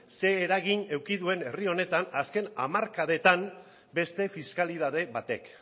zein eragin eduki duen herri honetan azken hamarkadetan beste fiskalitate batek